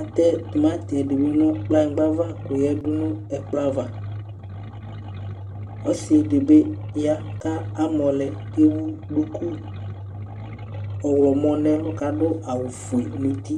atɛ timati dibi nu kplanyigba ava yadu nu ɛkplɔ ava ɔsidibi ya kamɔ lɛ kewu duku ɔɣlomɔ nɛlu kadu awu fue nu uti